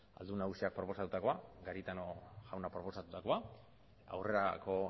aldun nagusiak proposatutakoa garitano jauna proposatutakoa aurrerako